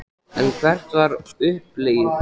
En hvert var uppleggið?